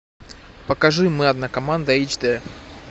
покажи мы одна команда эйч дэ